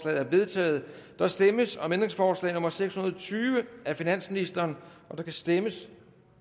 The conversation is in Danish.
er vedtaget der stemmes om ændringsforslag nummer seks hundrede og tyve af finansministeren der kan stemmes